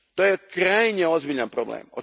To je krajnje ozbiljan problem.